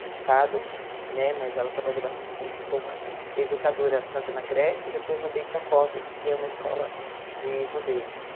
no Estado né, mas ela trabalhou bastante tempo como educadora, tanto na creche, e depois no Beit Yakov, que é uma escola de judeus.